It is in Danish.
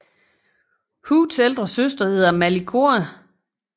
Hoods ældre søster hedder Mali Koa